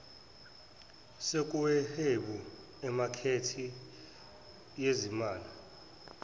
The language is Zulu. sokuhweba emakethe yezimali